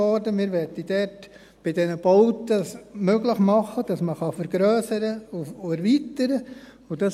Wir möchten es dort bei diesen Bauten möglich machen, dass man vergrössern und erweitern kann.